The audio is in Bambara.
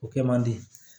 O kɛ man di